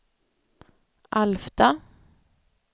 Alfta